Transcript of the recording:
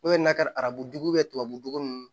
O ye n'a ka arabuduge tubabujugu ninnu